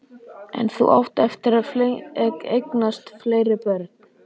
En þú átt eftir að eignast fleiri börn.